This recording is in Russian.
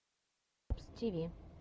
поищи лучший выпуск ай дабз ти ви